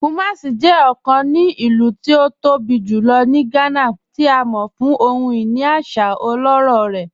Kumàsì jẹ́ ọ̀kàn ní ilù tí ó tó bí julọ̀ ní Gànà, tí a mọ̀ fún ohun-iní àṣà ọlọ́rọ̀ rẹ̀.